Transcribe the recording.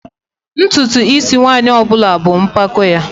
Ntutu is nwanyị ọ bụla bụ mpako ya